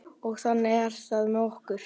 Og þannig er það með okkur.